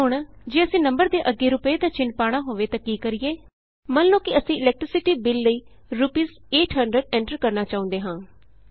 ਹੁਣ ਜੇ ਅਸੀਂ ਨੰਬਰ ਦੇ ਅੱਗੇ ਰੁਪਏ ਦਾ ਚਿੰਨ੍ਹ ਪਾਣਾ ਹੋਵੇ ਤਾਂ ਕੀ ਕਰੀਏ ਮੰਨ ਲਉ ਕਿ ਅਸੀਂ ਇਲੈਕਟ੍ਰੀਸਿਟੀ ਬਿੱਲ ਲਈ ਰੂਪੀਸ 800 ਐਂਟਰ ਕਰਨਾ ਚਾਹੂੰਦੇ ਹਾਂ